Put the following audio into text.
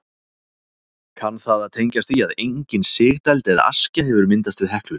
Kann það að tengjast því að engin sigdæld eða askja hefur myndast við Heklu.